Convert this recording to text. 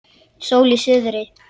Sól í suðri.